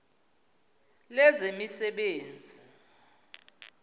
lezemisebenzi